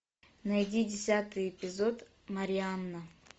найди десятый эпизод марианна